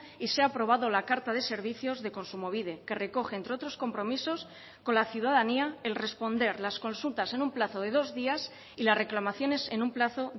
y se ha aprobado la carta de servicios de kontsumobide que recoge entre otros compromisos con la ciudadanía el responder las consultas en un plazo de dos días y las reclamaciones en un plazo